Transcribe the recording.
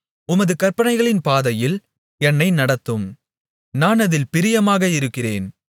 உமது கற்பனைகளின் பாதையில் என்னை நடத்தும் நான் அதில் பிரியமாக இருக்கிறேன்